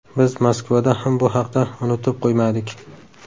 Biz Moskvada ham bu haqda unutib qo‘ymadik”.